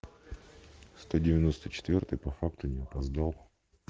сто девяносто четвёртый по факту не опоздал